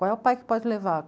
Qual é o pai que pode levar?